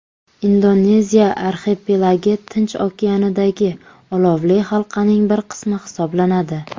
Indoneziya arxipelagi Tinch okeanidagi olovli halqaning bir qismi hisoblanadi.